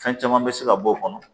Fɛn caman bɛ se ka bɔ o kɔnɔ